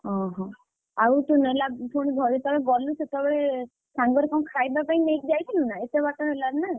ଅହ ଆଉ ତୁ ନେଲା~ପୁଣି ଘରୁ ଯେତେବେଳେ ଗଲୁ, ସେତେବେଳେ ସାଙ୍ଗରେ କଣ ଖାଇବାପାଇଁ ନେଇକି ଯାଇଥିଲୁ ନା ଏତେ ବାଟ ହେଲାଣି ନା?